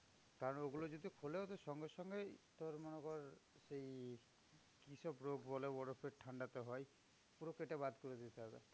কারণ ওগুলো যদি খোলে, ওদের সঙ্গে সঙ্গেই তোর মনে কর সেই কি সব রোগ বলে? বরফের ঠান্ডাতে হয়। পুরো কেটে বাদ করে দিতে হবে।